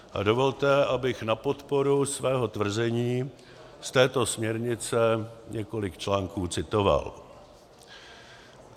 A dovolte, abych na podporu svého tvrzení z této směrnice několik článků citoval.